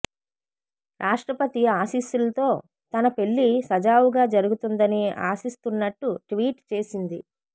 రాష్ట్రపతి ఆశీస్సులతో తన పెళ్లి సజావుగా జరుగుతుందని ఆశిస్తున్నట్టు ట్వీట్ చేసింది